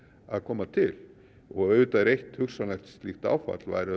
að koma til auðvitað er eitt hugsanlegt slíkt áfall væru